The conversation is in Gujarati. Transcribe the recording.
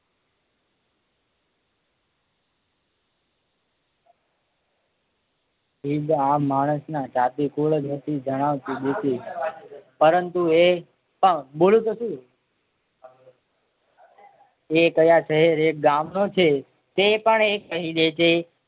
હિંદ આ માણસના જાતી કુળ હતી જણાવતી દેતી. પરંતુ એ એ ક્યાં શહેર એક ગામ નો છે તે પણ એ કહી દે છે.